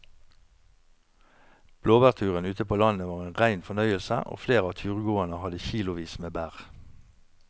Blåbærturen ute på landet var en rein fornøyelse og flere av turgåerene hadde kilosvis med bær.